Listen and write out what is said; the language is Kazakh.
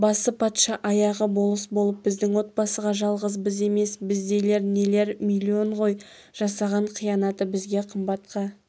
басы патша аяғы болыс болып біздің отбасыға жалғыз біз емес біздейлер нелер миллион ғой жасаған қиянаты бізге қымбатқа